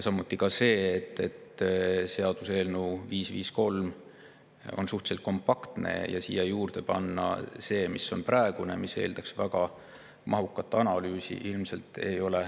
Samas on seaduseelnõu 553 suhteliselt kompaktne ja ilmselt ei ole väga mõttekas panna sinna juurde praegust, mis eeldaks väga mahukat analüüsi.